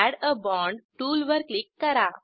add a bond टूलवर click करा